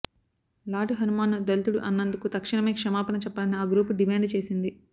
lord హనుమాన్ను దళితుడు అన్నందుకు తక్షణమే క్షమాపణ చెప్పాలని ఆ గ్రూపు డిమాండు చేసింది